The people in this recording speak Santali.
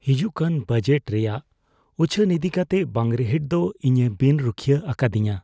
ᱦᱤᱡᱩᱜᱠᱟᱱ ᱵᱟᱡᱮᱴ ᱨᱮᱭᱟᱜ ᱩᱪᱷᱟᱹᱱ ᱤᱫᱤᱠᱟᱛᱮ ᱵᱟᱝ ᱨᱤᱦᱤᱴ ᱫᱚ ᱤᱧᱮ ᱵᱤᱱ ᱨᱩᱠᱷᱤᱭᱟᱹ ᱟᱠᱟᱫᱤᱧᱟ ᱾